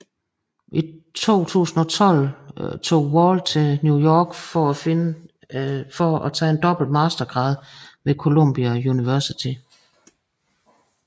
I 2012 tog Wall til New York for at tage en dobbelt mastergrad ved Columbia University